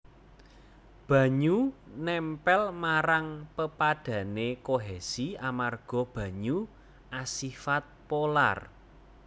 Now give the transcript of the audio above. Banyu nèmpèl marang pepadhané kohesi amarga banyu asifat polar